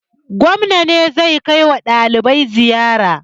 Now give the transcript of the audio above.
Gwamna ne zai kai wa ɗalibai ziyara.